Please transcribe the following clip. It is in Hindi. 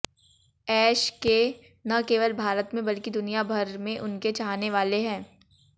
ऐश के न केवल भारत में बल्कि दुनिया भर में उनके चाहने वाले हैं